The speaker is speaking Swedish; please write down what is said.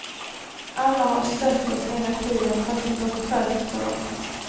Alla har stött oss hela tiden fast det gått trögt för dom.